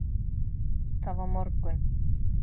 Það var morgunn.